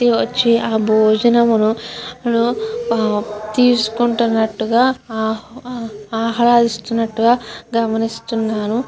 ఈ వచ్చి ఆ భోజనమును మున తీసుకున్నట్టుగా ఆహ్లాదిస్తున్నట్టుగా గమనిస్తున్నాను.